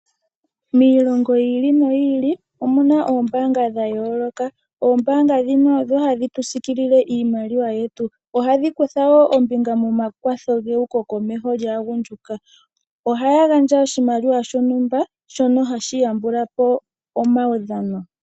Miilongo yi ili, noyi ili omuna oombaanga dha yooloka. Ombaanga dhino odho hadhi tu siikilele iimaliwa yetu, oha dhi kutha woo ombinga momakwatho geuko komeho lyaagundjuka. Ohaya gandja oshimaliwa shontumba shono hashi yambula po omaudhano.